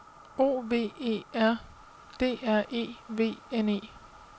O V E R D R E V N E